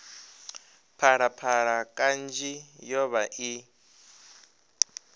phalaphala kanzhi yo vha i